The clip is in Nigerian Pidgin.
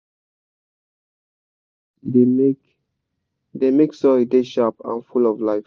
na natural manure we dey use e dey make e dey make soil dey sharp and full of life.